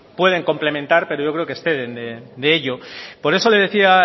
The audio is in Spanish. pues pueden complementar pero yo creo que exceden de ello por eso le decía